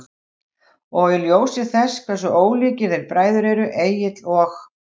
Og í ljósi þess hversu ólíkir þeir bræður eru, Egill og